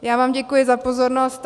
Já vám děkuji za pozornost.